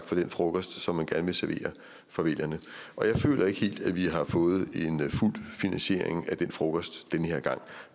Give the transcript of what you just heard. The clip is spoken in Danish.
for den frokost som man gerne vil servere for vælgerne og jeg føler ikke helt at vi har fået en fuld finansiering af den frokost den her gang